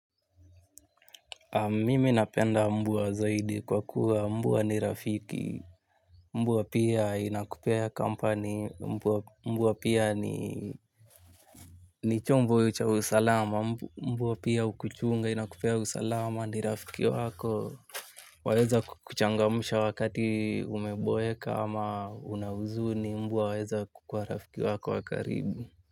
Mimi napenda mbwa zaidi kwa kuwa mbwa ni rafiki, mbwa pia inakupea kampani, mbwa pia ni chombo cha usalama, mbwa pia hukuchunga inakupea usalama ni rafiki wako. Waeza kuchangamsha wakati umeboeka ama unahuzuni mbwa waeza kukua rafiki wako wa karibi.